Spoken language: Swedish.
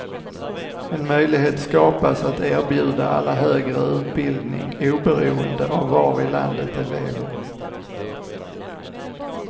En möjlighet skapas att erbjuda alla högre utbildning oberoende av var i landet de lever.